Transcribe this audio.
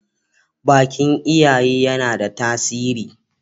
bakin iyaye yana da tasiri